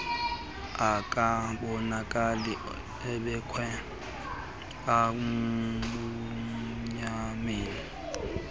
akabonakali ubeekwe ebumnyameni